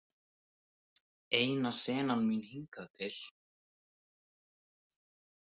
Eina senan mín hingað til.